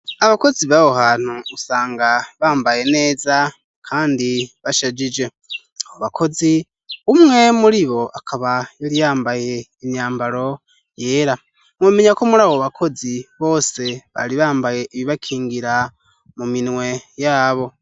Abakozi b'aho hantu usanga bambaye neza kandi bashajije abo bakozi umwe muri bo akaba yari yambaye imyambaro yera. Mwomenya ko muri abo bakozi bose bari bambaye ibibakingira mu minwe yabo.